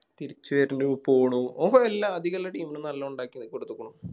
തിരിച്ച് വരുണു പോണു ഓൻ എല്ലാ അതികെല്ല Team നും നല്ല ഒണ്ടാക്കി കൊടുത്ത്ക്കുണു